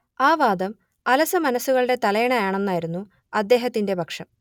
ആ വാദം അലസമനസ്സുകളുടെ തലയിണ ആണെന്നായിരുന്നു അദ്ദേഹത്തിന്റെ പക്ഷം